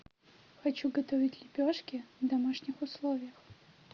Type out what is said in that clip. хочу готовить лепешки в домашних условиях